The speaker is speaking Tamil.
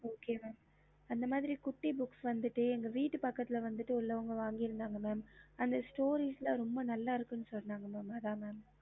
அந்தமாரி குட்டி இன்கா வீட்டு பக்கத்துல இருக்குறவங்க வாகனன் க அது ரொம்ப நல்ல இருக்குனு சொல்ராங்க